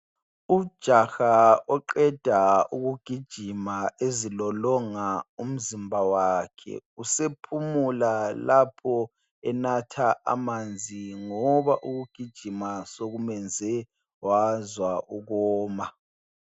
Ujaha oqeda ukugijima ezilolonga umzimba wakhe, usephumula lapho enatha amanzi ngoba ukugijima sokumenze wazwa ukoma.